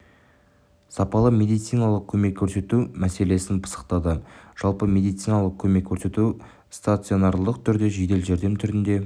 сапалы медициналық көмек көрсету мәселесін пысықтады жалпы медициналық көмек көрсету стационарлық түрде жедел жәрдем түрінде